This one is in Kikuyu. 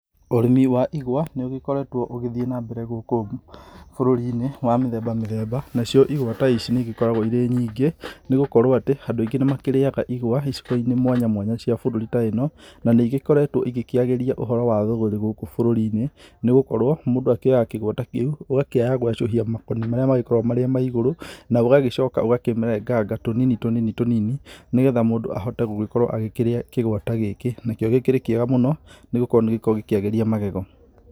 Ũrĩmi wa igwa nĩ ũgĩkoretwo ũgĩthiĩ na mbere gũkũ bũrũri-inĩ wa mĩthemba mĩthemba nacio igwa ta ici nĩ igĩkoragwo iri nyingĩ nĩ gũkorwo atĩ andũ aingĩ nĩ makĩrĩaga igwa icigo-inĩ mwanya mwanya cia bũrũri ta ĩno, na nĩ igĩkoretwo igĩkĩagiria ũhoro wa thũgũrĩ gũku bũrũri-inĩ. Nĩgũkorwo mũndũ akĩoyaga kĩgwa ta kĩu ũgakĩaya gwacũhia makoni marĩa ma igũrũ na ũgacoka ũgakĩrenganga tũnini tũnini nĩ getha mũndũ akahota gũkĩrĩa kĩgwa ta gĩkĩ. Nakĩo gĩkĩrĩ kĩega mũno nĩ gũkorwo nĩ gĩkoragwo gĩkĩagĩria magego.